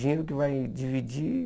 Dinheiro que vai dividir.